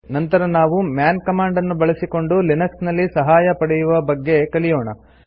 ನಂತರ ನಾವು man command ನ್ನು ಬಳಸಿಕೊಂಡು ಲಿನಕ್ಸ್ ನಲ್ಲಿ ಸಹಾಯ ಪಡೆಯುವ ಬಗ್ಗೆ ಕಲಿಯೋಣ